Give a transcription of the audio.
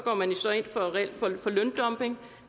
reelt ind for løndumping